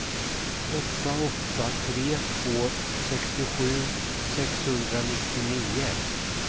åtta åtta tre två sextiosju sexhundranittionio